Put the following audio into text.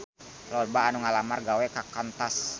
Loba anu ngalamar gawe ka Qantas